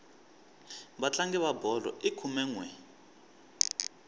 vatlangi va bolo i khume nwe